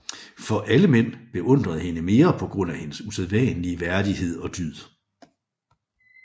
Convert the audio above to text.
For alle mænd beundrede hende mere på grund af hendes usædvanlige værdighed og dyd